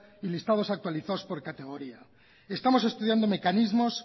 y listados actualizados por categoría estamos estudiando mecanismos